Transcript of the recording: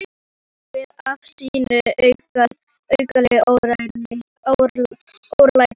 Gatan tók við af sínu alkunna örlæti.